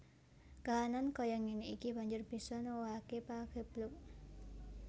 Kahanan kaya ngéné iki banjur bisa nuwuhaké pageblug